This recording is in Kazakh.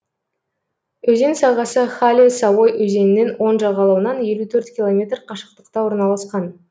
өзен сағасы хале савой өзенінің оң жағалауынан елу төрт километр қашықтықта орналасқан